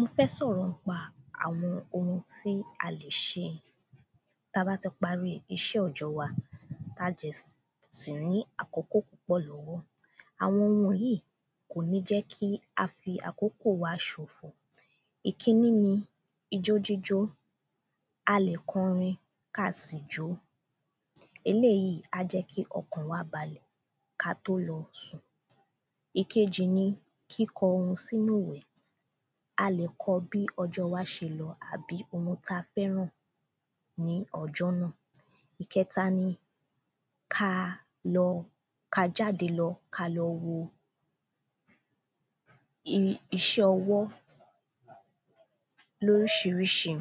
mo fe soro nipa awon ohun ti a le se ta ba ti pari ise ojo wa Tí a dẹ̀ ṣì ní àkókò púpọ̀ lọ́wọ́ àwọn oun yìí kò ní jẹ́ kí á fi àkókò wa ṣòfò ìkíní ni ijó jíjó a lè kọ orin kí a sì jó eléyìí á jẹ́ kí ọkàn wa balẹ̀ kí á tó lọ sùn ìkeji ni kíkọ oun sínú ìwé a lè kọ bí ọjọ́ wa ṣe lọ àbí oun tí a fẹ́ràn ní ọjọ́ náà ìkẹta ni kí a lọ kí a jáde lọ kí á lọ wo iṣẹ́ ọwọ́ ni oríṣiríṣi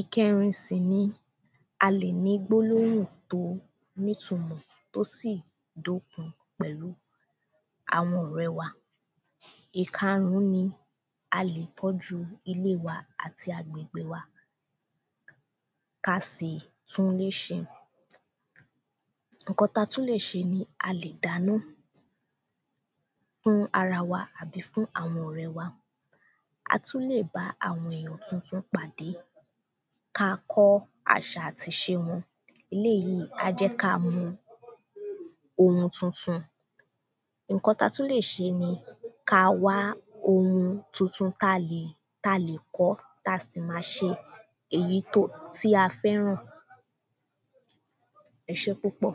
ìkẹrin sì ni a lè ní gbólóhùn tí ó ní ìtumọ̀ tí ó sì dókun pẹ̀lú àwọn ọ̀rẹ́ wa ìkarún ni a lè tọ́jú ilé wa àti agbègbè wa kí a sì tún ilé ṣe nǹkan tí a tún lè ṣe ni a lè dáná fún ará wa àbí fún àwọn ọ̀rẹ́ wa a tún lè bá àwọn èyàn tuntun pàdé kí a kọ́ àṣà àti ìṣe wọn eléyìí á jẹ́ kí á mọ oun tuntun nǹkan tí a tún lè ṣe ni kí á wá oun tuntun tí a lè kọ́ tí a sì ma ṣe èyí tí a fẹ́ràn ẹ ṣe ́púpọ̀